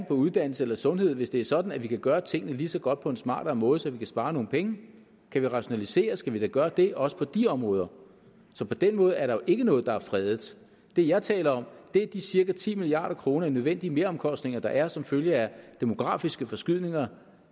for uddannelse og sundhed hvis det er sådan at vi kan gøre tingene lige så godt på en smartere måde så vi kan spare nogle penge og kan vi rationalisere skal vi da gøre det også på de områder så på den måde er der jo ikke noget der er fredet det jeg taler om er de cirka ti milliard kroner i nødvendige meromkostninger der er som følge af de demografiske forskydninger